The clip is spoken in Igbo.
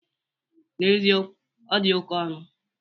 N'ezikowu, ọ di oke ọnụ